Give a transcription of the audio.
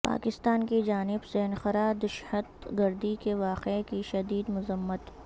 پاکستان کی جانب سے انقرہ دشہت گردی کے واقعے کی شدید مذمت